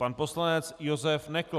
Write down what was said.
Pan poslanec Josef Nekl.